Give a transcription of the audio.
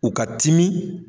U ka timi.